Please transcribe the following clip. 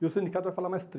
E o sindicato vai falar mais